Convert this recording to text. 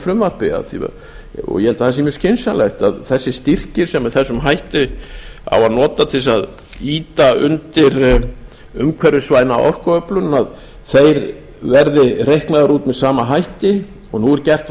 þessu frumvarpi og ég held að það sé mjög skynsamlegt að þessir styrkir sem með þessum hætti á að nota til að ýta undir umhverfisvæna orkuöflun þeir verði reiknaðir út með sama hætti og nú er gert